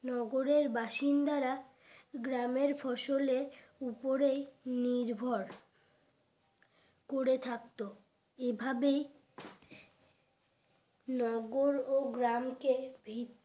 নগরের বাসিন্দারা গ্রামের ফসলে উপরে নির্ভর করে থাকত এভাবে নগর ও গ্রামকে ভি